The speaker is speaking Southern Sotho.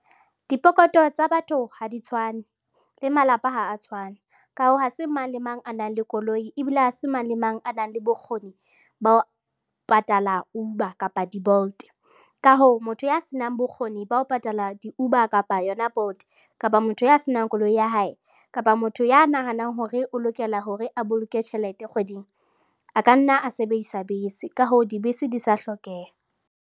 Dipokoto tsa batho ha di tshwane le malapa ha a tshwane, ka hoo, ha se mang le mang a nang le koloi ebile ha se mang le mang a nang le bokgoni bao patala Uber kapa di-Bolt, ka hoo, motho ya senang bokgoni ba ho patala di-Uber kapa yona Bolt kapa motho ya senang koloi ya hae kapa motho ya nahanang hore o lokela hore a boloke tjhelete kgweding a ka nna a sebedisa bese. Ka hoo, dibese di sa hlokeha.